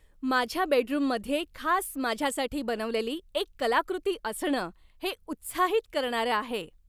माझ्या बेडरूममध्ये खास माझ्यासाठी बनवलेली एक कलाकृती असणं हे उत्साहित करणारं आहे.